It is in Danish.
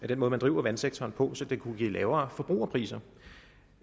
den måde man driver vandsektoren på så den kunne give lavere forbrugerpriser